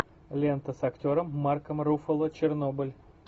лента с актером марком руффало чернобыль